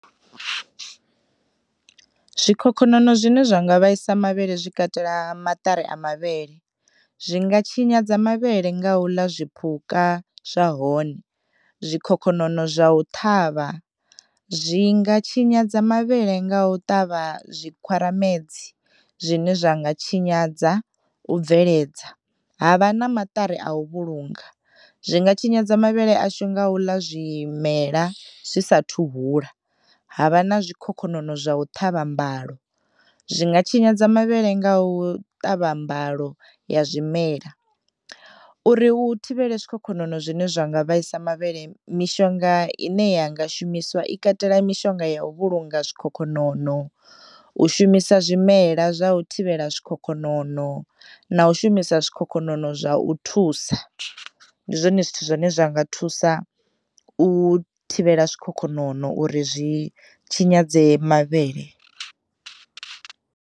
Zwikhokhonono zwine zwa nga vhaisa mavhele zwi katela maṱari a mavhele zwi nga tshinyadza mavhele nga u ḽa zwiphuka zwa hone, zwikhokhonono zwa u ṱhavha zwi nga tshinyadza mavhele nga u ṱavha zwikhwaramedzi zwine zwa nga tshinyadza u bveledza ha vha na maṱari a u vhulunga zwi nga tshinyadza mavhele ashu nga u ḽa zwimela zwi sathu hula, havha na zwikhokhonono zwa u ṱhavha mbalo zwi nga tshinyadza mavhele nga u ṱavha mbalo ya zwimela. Uri u thivhele zwikhokhonono zwine zwa nga vhaisa mavhele mishonga ine ya nga shumisiwa i katela mishonga ya u vhulunga zwikhokhonono u shumisa zwimela zwa u thivhela zwikhokhonono na u shumisa zwikhokhonono zwa u thusa ndi zwone zwithu zwine zwa nga thusa u thivhela zwikhokhonono uri zwi, zwi tshinyadza mavhele.